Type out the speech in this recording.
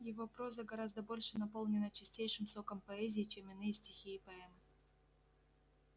его проза гораздо больше наполнена чистейшим соком поэзии чем иные стихи и поэмы